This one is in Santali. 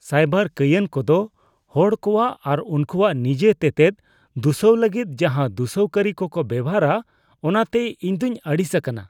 ᱥᱟᱭᱵᱟᱨ ᱠᱟᱹᱭᱟᱱ ᱠᱚᱫᱚ ᱦᱚᱲ ᱠᱚᱣᱟᱜ ᱟᱨ ᱩᱝᱠᱩᱣᱟᱜ ᱱᱤᱡᱟᱹ ᱛᱮᱛᱮᱫ ᱥᱩᱥᱟᱹᱣ ᱞᱟᱹᱜᱤᱫ ᱡᱟᱦᱟ ᱫᱩᱥᱱᱟᱹᱣ ᱠᱟᱹᱨᱤ ᱠᱚᱠᱚ ᱵᱮᱵᱚᱦᱟᱨᱼᱟ ᱚᱱᱟᱛᱮ ᱤᱧ ᱫᱚᱧ ᱟᱹᱲᱤᱥ ᱟᱠᱟᱱᱟ ᱾